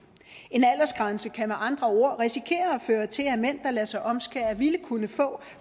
en aldersgrænse kan med andre ord risikere at føre til at mænd der lader sig omskære ville kunne få